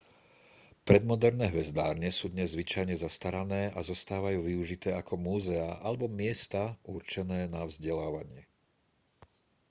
predmoderné hvezdárne sú dnes zvyčajne zastarané a zostávajú využité ako múzeá alebo miesta určené na vzdelávanie